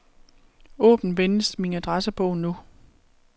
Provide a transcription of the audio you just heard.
Åbn venligst min adressebog nu.